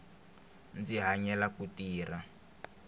ndzi hanyela ku tirha